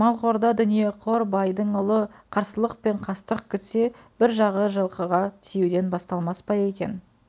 малқорда дүниеқор байдың ұлы қарсылық пен қастық күтсе бір жағы жылқыға тиюден басталмас па екен